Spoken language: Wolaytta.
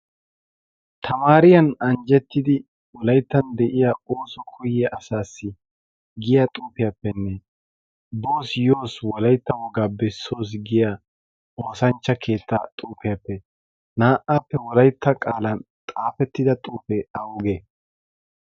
tamaariyan anjjettidi wolayttan de'iya ooso kuye asaassi giya xuufiyaappenne bos yoos wolaytta wogaa bessoos giya oosanchcha keettaa xuufiyaappe naa'aappe wolaitta qaalan xaafettida xuufee auge